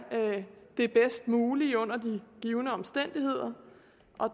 det bedst mulige under de givne omstændigheder